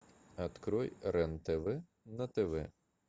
открой рен тв на тв